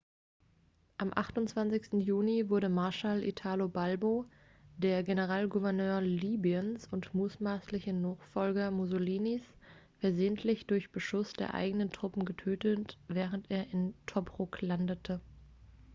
am 28. juni wurde marshall italo balbo der generalgouverneur libyens und mutmaßliche nachfolger mussolinis versehentlich durch beschuss der eigenen truppen getötet während er in tobruk landete